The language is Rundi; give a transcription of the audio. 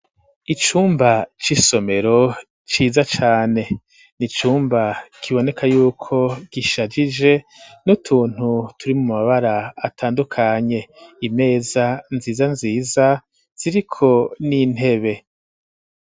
Icumba c'isomero, ciza cane; ni icumba kiboneka y'uko gishajije, n'utuntu turi mu mabara atandukanye; imeza nziza nziza, ziriko n'intebe.